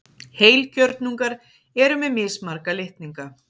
Heilkjörnungar eru með mismarga litninga.